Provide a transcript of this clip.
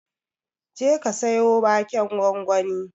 Jeka ka siyo waken gwangwani.